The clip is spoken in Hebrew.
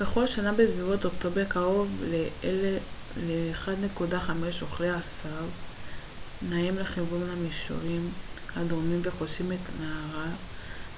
בכל שנה בסביבות אוקטובר קרוב ל-1.5 אוכלי עשב נעים לכיוון המישורים הדרומיים וחוצים את נהר